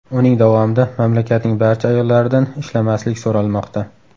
Uning davomida mamlakatning barcha ayollaridan ishlamaslik so‘ralmoqda.